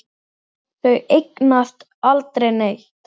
Þau eignast aldrei neitt.